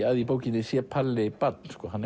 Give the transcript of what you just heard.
að í bókinni sé Palli barn hann